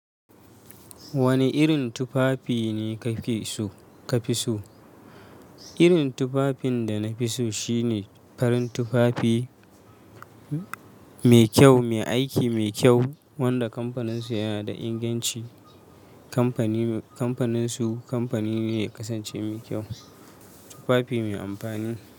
Wane irin tufafi ne kake so ka fi so? Irin tufafin da na fi so shine farin tufafi, mai kyau, mai aiki, mai kyau, wanda kamfaninsu yana da inganci. Kamfani, kamfaninsu kamfani ne ya kasance mai kyau. Tufafi mai amfani.